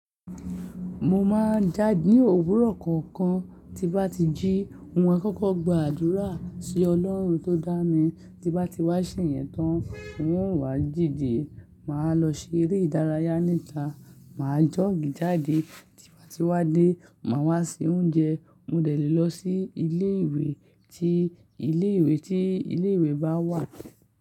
Mo máa ń jáde ní òwúrọ̀ kọ̀ọ̀kan, tí bá ti jí, n ó kọ́kọ́ gba àdúrà sí Ọlọ́run tó dá mi, tí bá ti wá sì yẹn tán, n ó wà díde, màá lọ ṣe eré ìdárayá níta, màá jọ́ọ̀gì jáde, tí bá ti wá dé, màá wá se oúnjẹ, mo dẹ̀ lé lọ sí ilé ìwé tí ilé ìwé tí ilé ìwé bá wà.